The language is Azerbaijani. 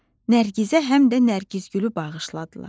Nərgizə həm də Nərgiz gülü bağışladılar.